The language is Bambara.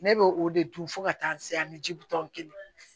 Ne bɛ o de dun fo ka taa se ani ji butɔn kelen